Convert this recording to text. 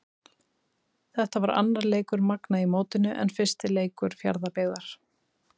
Þetta var annar leikur Magna í mótinu en fyrsti leikur Fjarðabyggðar.